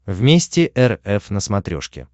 вместе эр эф на смотрешке